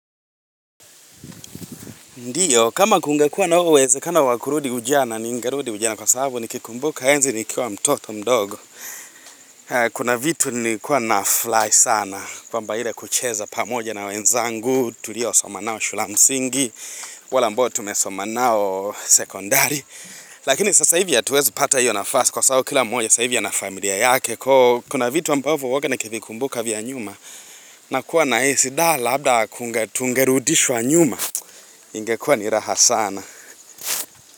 Ndiyo, kama kungekuwa na huo uwezekano wa kurudi ujana ningerudi ujana kwa sababu nikikumbuka enzi nikiwa mtoto mdogo. Kuna vitu nilikuwa nafurahi sana kwamba ile kucheza pamoja na wenzangu, tuliosoma nao shule ya msingi, wale ambao tumesoma nao sekondari. Lakini sasa hivi hatuwezi pata hiyo nafasi kwa sababu kila mmoja sasa hivi ana familia yake. Kwa kuna vitu ambavyo huwawanga nikivikumbuka vya nyuma nakuwa nahisi da labda kunga tungerudishwa nyuma. Ingekuwa ni raha sana.